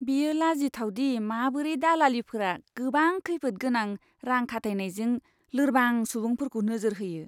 बेयो लाजिथाव दि माबोरै दालालिफोरा गोबां खैफोदगोनां रां खाथायनायजों लोरबां सुबुंफोरखौ नोजोर होयो।